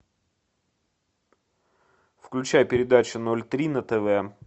включай передачу ноль три на тв